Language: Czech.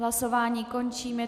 Hlasování končím.